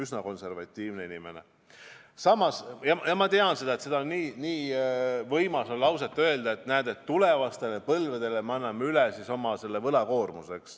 Samas ma saan aru, et nii võimas tunne on öelda lause, et näete, me anname tulevastele põlvedele üle nii suure võlakoormuse.